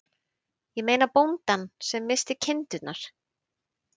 Ég meina bóndann sem missti kindurnar.